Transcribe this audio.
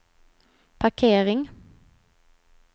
parkering